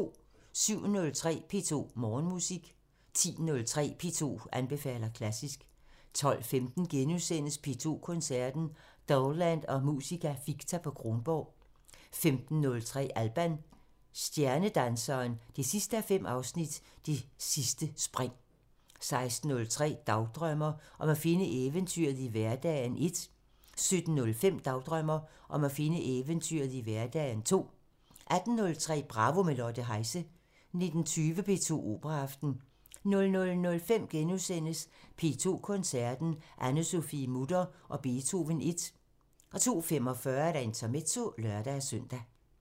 07:03: P2 Morgenmusik 10:03: P2 anbefaler klassisk 12:15: P2 Koncerten – Dowland og Musica Ficta på Kronborg * 15:03: Alban – Stjernedanseren 5:5 – Det sidste spring 16:03: Dagdrømmer: Om at finde eventyret i hverdagen 1 17:05: Dagdrømmer: Om at finde eventyret i hverdagen 2 18:03: Bravo – med Lotte Heise 19:20: P2 Operaaften 00:05: P2 Koncerten – Anne-Sophie Mutter og Beethoven I * 02:45: Intermezzo (lør-søn)